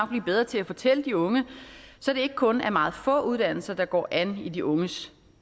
blive bedre til at fortælle de unge så det ikke kun er meget få uddannelser der går an i de unges